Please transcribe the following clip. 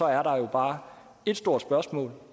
er der jo bare et stort spørgsmål